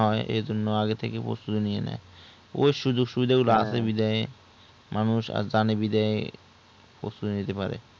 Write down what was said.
না এর জন্য মানুষ আগে থেকে প্রস্তুতি নিয়ে নেয় ওই সুযোগ সুবিধা গুলা আছে বিধায় মানুষ আর জানি বিধায় প্রস্তুতি নিতে পারে